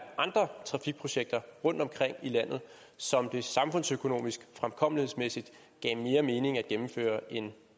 andre trafikprojekter rundtomkring i landet som det samfundsøkonomisk og fremkommelighedsmæssigt gav mere mening at gennemføre end